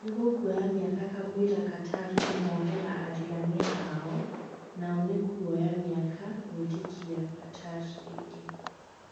Nĩgũkwoya mĩaka kamũira Qatar kũmohera arigania ao nao nĩkwoya mĩaka gwĩtĩkia Qatar rĩngĩ